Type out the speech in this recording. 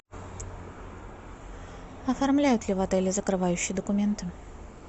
оформляют ли в отеле закрывающие документы